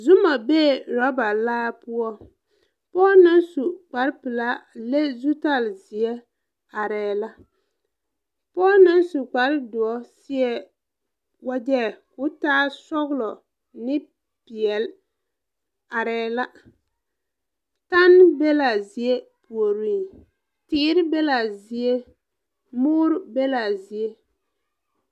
Zuma bee rɔba laa poɔ pɔɔ naŋ su kpare pilaa leŋ zutalzeɛ areɛɛ la pɔɔ naŋ su kpare doɔ seɛ wagyɛ ko taa sɔglɔ ne peɛɛli areɛɛ la tanne be laa zie puoriŋ teere be laa zie muure be laa zie.